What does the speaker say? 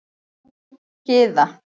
Gyða